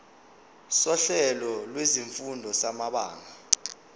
sohlelo lwezifundo samabanga